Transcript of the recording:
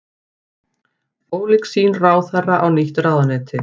Ólík sýn ráðherra á nýtt ráðuneyti